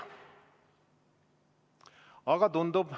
Aga tundub ...